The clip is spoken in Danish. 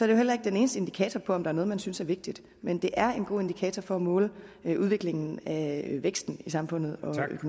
jo heller ikke den eneste indikator for om der er noget man synes er vigtigt men det er en god indikator for at måle udviklingen af væksten i samfundet